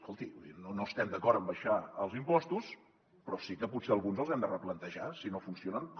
escolti no estem d’acord en abaixar els impostos però sí que potser alguns els hem de replantejar si no funcionen com